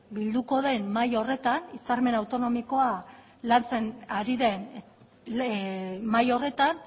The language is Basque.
bilduko den mahai horretan hitzarmen autonomikoa lantzen ari den mahai horretan